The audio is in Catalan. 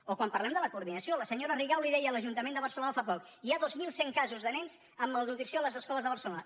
o quan parlem de la coordinació la senyora rigau li deia a l’ajuntament de barcelona fa poc hi ha dos mil cent casos de nens amb malnutrició a les escoles de barce·lona